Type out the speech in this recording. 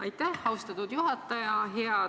Aitäh, austatud juhataja!